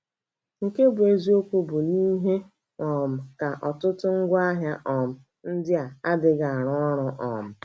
Nke bụ́ eziokwu bụ na ihe um ka ọtụtụ n’ngwaahịa um ndị a adịghị arụ ọrụ. um